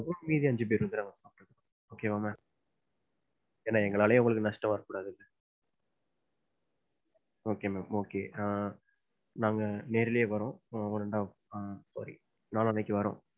மீதி அஞ்சு பேர் வந்துருவாங்க. okay வா ma'am ஏன்னா எங்கனால உங்களுக்கு நஷ்டம் வரக்கூடாது. okay ma'am, okay ஆஹ் நாங்க நேரலையே வரோம். ஒரு நாள் நாளானைக்கு வரோம்.